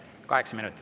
Kaheksa minutit.